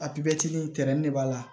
Apetiri in tɛrɛn de b'a la